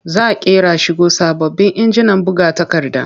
Za ƙera shigo da sababbin injinan buga takarda.